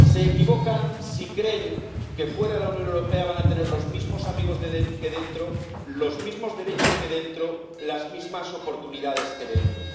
Se equivocan si creen que fuera de la Unión Europea van a tener los mismos amigos que dentro, los mismos derechos que dentro, las mismas oportunidades que dentro.